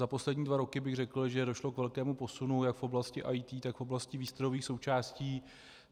Za poslední dva roky bych řekl, že došlo k velkému posunu jak v oblasti IT, tak v oblasti výstrojových součástí.